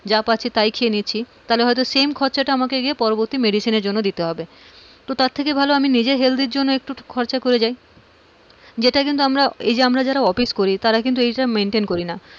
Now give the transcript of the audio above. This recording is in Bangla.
যা পারছি তাই খাচ্ছি তাহলে same খরচাটা কিন্তু আমাকে গিয়ে পরবর্তী medicine এর জন্য দিতে হবে তো তার থেকে ভালো নিজের health এর জন্য খরচ করে যাই , যেটা কিন্তু আমরা এই যে আমরা অফিস করি তারা কিন্তু maintain করি না,